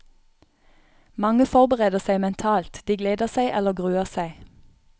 Mange forbereder seg mentalt, de gleder seg eller gruer seg.